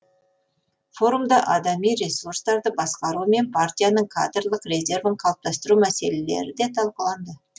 форумда адами ресурстарды басқару мен партияның кадрлық резервін қалыптастыру мәселелері де талқыланды